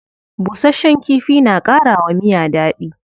Bushasshen kifi na kara wa miya dadi.